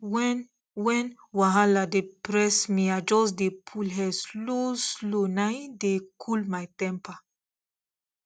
when when wahala dey press me i just dey pull air slow slow na im dey cool my temper